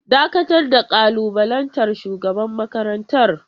Dakatar da kalubalantar shugaban makarantar!